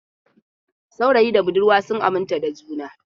Saurayi da budurwa sun aminta da juna.